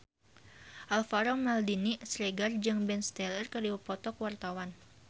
Alvaro Maldini Siregar jeung Ben Stiller keur dipoto ku wartawan